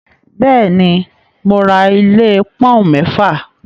Bẹ́ẹ̀ ni, mo ra ilé pọ́ọ́úǹ mẹ́fà.